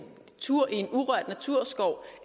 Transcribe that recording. tur i en urørt naturskov